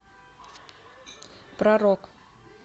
про рок